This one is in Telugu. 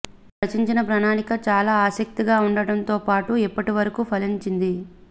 వారు రచించిన ప్రణాళిక చాలా ఆసక్తిగా ఉండడంతో పాటు ఇప్పటి వరకూ ఫలించింది